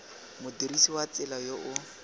modirisi wa tsela yo o